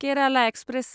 Kerala express